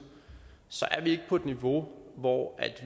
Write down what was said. er vi ikke på et niveau hvor